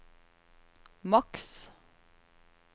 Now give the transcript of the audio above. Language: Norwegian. maks